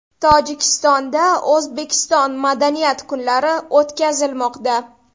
Tojikistonda O‘zbekiston madaniyat kunlari o‘tkazilmoqda .